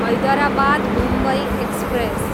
Hyderabad, Mumbai express